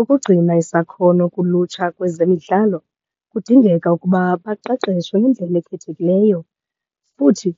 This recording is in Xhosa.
Ukugcina isakhono kulutsha kwezemidlalo kudingeka ukuba baqeqeshwe ngendlela ekhethekileyo futhi